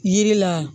Yiri la